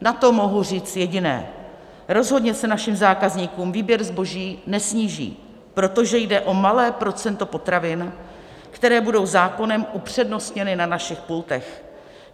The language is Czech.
Na to mohu říct jediné: rozhodně se našim zákazníkům výběr zboží nesníží, protože jde o malé procento potravin, které budou zákonem upřednostněny na našich pultech.